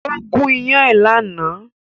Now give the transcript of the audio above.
Ó gún iyán ẹ̀ lánàá